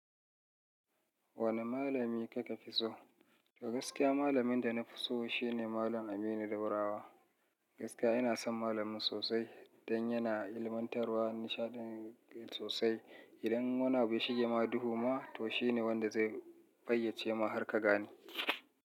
Wane malami kika fi so? Ga gaskiya, malamin da na fi so shine Malam Aminu Daurawa. Gaskiya ina son malamin sosai don yana ilmantarwa nishaɗi sosai. Idan wani abu ya shige ma duhu ma, to shine wanda zai fayyace ma har ka gane.